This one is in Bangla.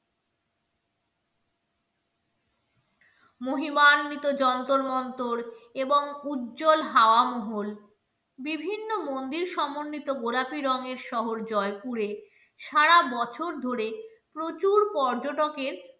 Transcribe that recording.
মহিমান্বিত যন্তর মন্তর এবং উজ্জ্বল হাওয়া মহল বিভিন্ন মন্দির সমন্বিত গোলাপি রঙের শহর জয়পুরে সারা বছর ধরে প্রচুর পর্যটকের